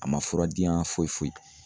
A ma fura diya foyi foyi.